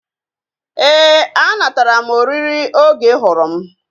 Éè, a natara m oriri oge ị hụrụ m